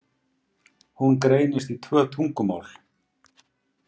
Hún greinist í tvö tungumál.